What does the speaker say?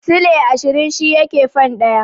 Silai ashirin shi yake fan ɗaya.